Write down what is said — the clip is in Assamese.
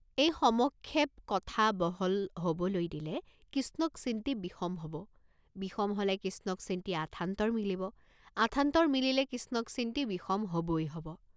এই সমক্ষেপ কথা বহল হ'বলৈ দিলে কিষ্ণক চিন্তি বিষম হব, বিষম হলে কিষ্ণক চিন্তি আথান্তৰ মিলিব, আথান্তৰ মিলিলে কিষ্ণক চিন্তি বিষম হবই হব।